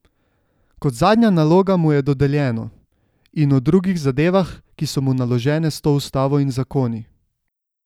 Kot zadnja naloga mu je dodeljeno: 'In o drugih zadevah, ki so mu naložene s to ustavo in zakoni'.